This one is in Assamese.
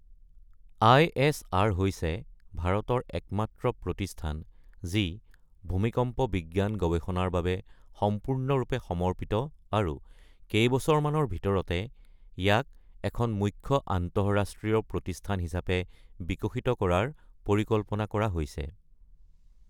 আই.এছ.আৰ হৈছে ভাৰতৰ একমাত্ৰ প্ৰতিষ্ঠান যি ভূমিকম্প বিজ্ঞান গৱেষণাৰ বাবে সম্পূৰ্ণৰূপে সমৰ্পিত আৰু কেইবছৰমানৰ ভিতৰতে ইয়াক এখন মুখ্য আন্তঃৰাষ্ট্ৰীয় প্ৰতিষ্ঠান হিচাপে বিকশিত কৰাৰ পৰিকল্পনা কৰা হৈছে।